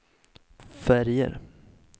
färger